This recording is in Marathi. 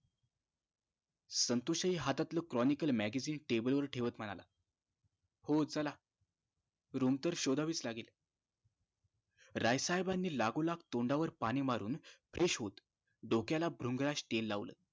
संतोष हि हातातलं cronical magzine table वर ठेवत म्हणाला हो चला room तर शोधावीच लागेल राय साहेबानी लागोलाग तोंडावर पाणी मारून fresh होत डोक्याला भृंगराज तेल लावलं